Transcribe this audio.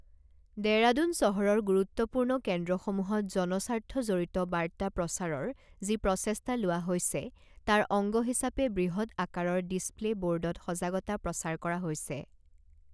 দেৰাডুন চহৰৰ গুৰুত্বপূৰ্ণ কেন্দ্ৰসমূহত জনস্বা্ৰ্থজড়িত বাৰ্তা প্ৰচাৰৰ যি প্ৰচেষ্টা লোৱা হৈছে, তাৰ অংগ হিচাপে বৃহৎ আকাৰৰ ডিছপ্লে বোৰ্ডত সজাগতা প্ৰচাৰ কৰা হৈছে।